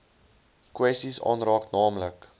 kwessies aanraak naamlik